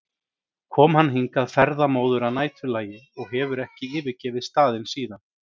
kom hann hingað ferðamóður að næturlagi og hefur ekki yfirgefið staðinn síðan.